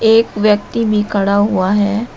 एक व्यक्ति भी खड़ा हुआ है।